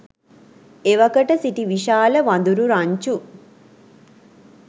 එවකට සිටි විශාල වඳුරු රංචු